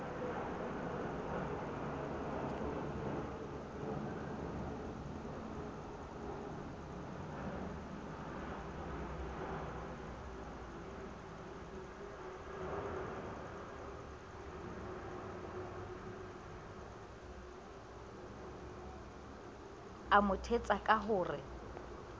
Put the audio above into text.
mo thetsa ka ho re